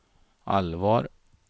allvar